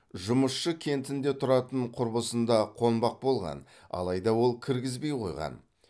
жұмысшы кентінде тұратын құрбысында қонбақ болған алайда ол кіргізбей қойған